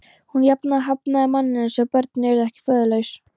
Ég hafnaði manninum svo börnin yrðu ekki föðurlaus.